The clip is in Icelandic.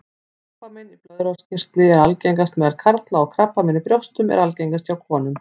Krabbamein í blöðruhálskirtli er algengast meðal karla og krabbamein í brjóstum er algengast hjá konum.